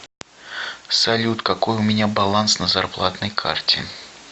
салют какой у меня баланс на зарплатной карте